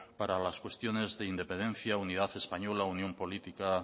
para las cuestiones de independencia unidad española o unión política